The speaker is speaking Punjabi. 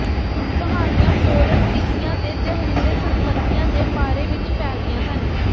ਕਹਾਣੀਆਂ ਪੋਰਸਟੀਤੀਆ ਦੇ ਜ਼ਹਿਰੀਲੇ ਸੰਪਤੀਆਂ ਦੇ ਬਾਰੇ ਵਿੱਚ ਫੈਲਦੀਆਂ ਹਨ